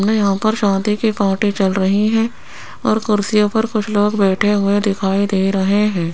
मे यहाँ पर शादी की पार्टी चल रही है और कुर्सियों पर कुछ लोग बैठे हुए दिखाई दे रहे हैं।